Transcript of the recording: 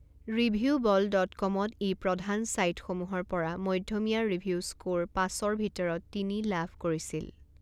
Reviewable dot কমত ই প্ৰধান ছাইটসমূহৰ পৰা মধ্যমীয়া ৰিভিউ স্ক'ৰ পাঁচৰ ভিতৰত তিনি লাভ কৰিছিল।